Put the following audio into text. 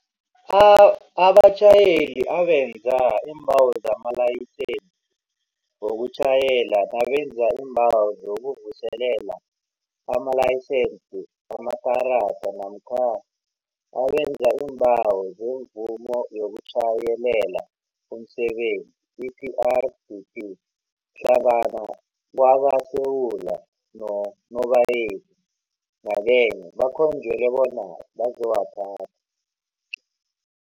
Abatjhayeli abenza iimbawo zamalayisense wokutjhayela nabenza iimbawo zokuvuselela amalayisense amakarada namkha abenza iimbawo zemvumo yokutjhayelela umsebenzi, i-PrDP, hlangana kwakaSewula noNobayeni nyakenye bakhonjelwa bona bazowathatha.